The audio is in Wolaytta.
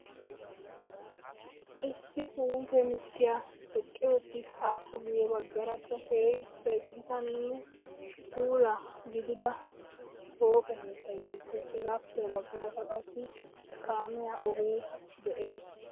Issi puute mittiya eqqi uttis. Appe guyye baggaarakka keehippe gitanne puula gidida pooqe keettayi beettes. Hegaappe ha baggaarakka qassi kaamiya ogee de"es.